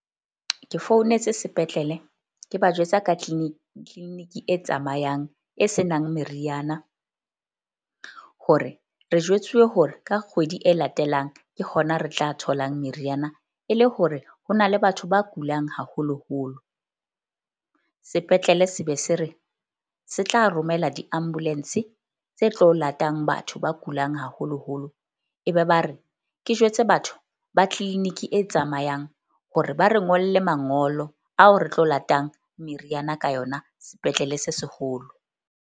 Ke founetse sepetlele ke ba jwetsa ka clinic-i e tsamayang e se nang meriana. Hore re jwetsuwe hore ka kgwedi e latelang ke hona re tla tholang meriana e le hore ho na le batho ba kulang haholoholo. Sepetlele se be se re se tla romela di-ambulance tse tlo latang batho ba kulang haholoholo. E be ba re ke jwetse batho ba clinic-i e tsamayang hore ba re ngolle mangolo ao re tlo latang meriana ka yona sepetlele se seholo.